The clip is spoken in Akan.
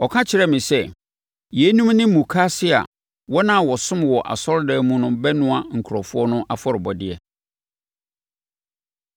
Ɔka kyerɛɛ me sɛ, “Yeinom ne mukaase a wɔn a wɔsom wɔ asɔredan mu no bɛnoa nkurɔfoɔ no afɔrebɔdeɛ.”